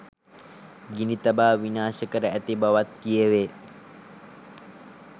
ගිනි තබා විනාශ කර ඇති බවත් කියැවේ.